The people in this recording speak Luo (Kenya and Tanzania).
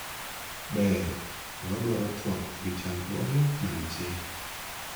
ber , to wadwaro twak ewi chandruoge mantie